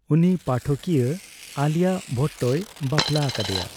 ᱩᱱᱤ ᱯᱟᱴᱷᱚᱠᱤᱭᱟ ᱟᱞᱤᱭᱟ ᱵᱷᱚᱴᱴᱚᱭ ᱵᱟᱯᱞᱟ ᱟᱠᱟᱫᱮᱭᱟ ᱾